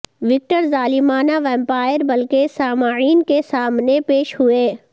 Victor ظالمانہ vampire بلکہ سامعین کے سامنے پیش ہوئے